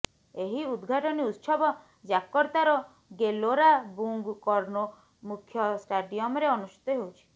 ଏହି ଉଦଘାଟନୀ ଉତ୍ସବ ଜାକର୍ତ୍ତାର ଗେଲୋରା ବୁଂଗ୍ କର୍ଣ୍ଣୋ ମୁଖ୍ୟ ଷ୍ଟାଡ଼ିୟମରେ ଅନୁଷ୍ଠିତ ହେଉଛି